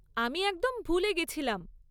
আমি একদম ভুলে গেছিলাম।